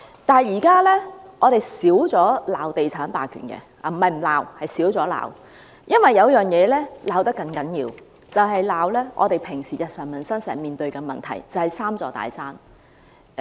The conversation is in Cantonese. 不過，現時我們較少指責地產霸權——不是不罵，只是少罵了——因為有其他東西被罵得更厲害，就是日常生活中經常面對的問題，即是"三座大山"。